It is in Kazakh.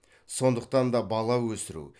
сондықтан да бала өсіру